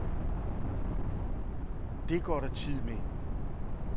Det går der tid med.